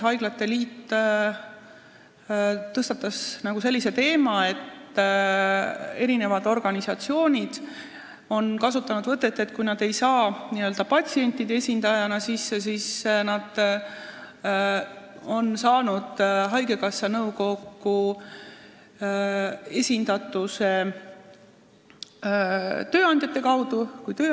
Haiglate liit tõstatas ka selle teema, et eri organisatsioonid on kasutanud sellist võtet, et kui nad ei ole saanud haigekassa nõukokku sisse patsientide esindajana, siis nad on sinna saanud tööandjate esindajana.